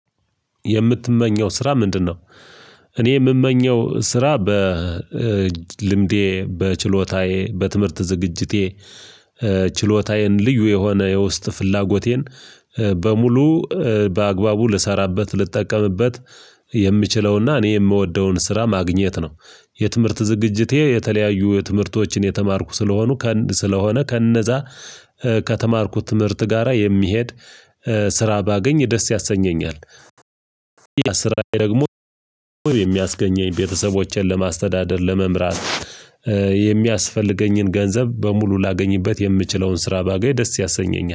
የምትመኘው ስራ ምንድነው? እኔ የምመኘው ስራ በልምዴ በችሎታዬ በትምህርት ዝግጅቴ ችሎታዬን ልዩ የሆነ የውስጥ ፍላጎቴን በሙሉ በአግባቡ ልሰራበት ልጠቀምበት የምችለውና እኔ የምወደውን ስራ ማግኘት ነው፤ የትምህርት ዝግጅቴ የተለያዩ ትምህርቶችን የተማርኩ ስለሆኑ ከእንድ ስለሆነ ከእነዛ ከተማርኩት ትምህርት ጋራ የሚሄድ ስራ ባገኝ ደስ ያሰኘኛል ያ ስራ ደግሞ የሚያስገኘኝ ቤተሰቦቼን ለማስተዳደር ለመምራት የሚያስፈልገኝን ገንዘብ በሙሉ ላገኝበት የምችለውን ስራ ባገኝ ደስ ያሰኘኛል።